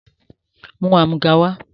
Mú amúga wá!